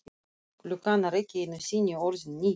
Klukkan er ekki einu sinni orðin níu.